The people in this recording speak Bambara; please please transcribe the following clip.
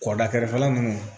Kɔkɔda kɛrɛfɛla mun